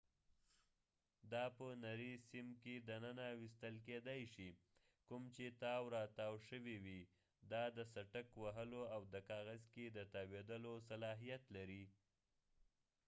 دا په نري سیم کې دننه ویستل کیدای شي کوم چې تاو راتاو شوی وي دا د څټک وهلو او د کاغذ کې د تاویدلو صلاحیت لري